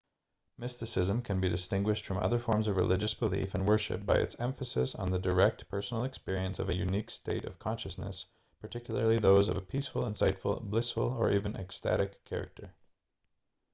mysticism can be distinguished from other forms of religious belief and worship by its emphasis on the direct personal experience of a unique state of consciousness particularly those of a peaceful insightful blissful or even ecstatic character